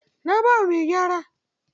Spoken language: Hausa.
Na ba wa mai gyara.